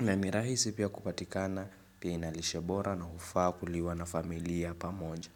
na mirahisi pia kupatikana pia inalisha bora na ufa kuliwa na familia pamoja.